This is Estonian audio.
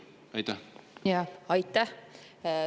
Aitäh!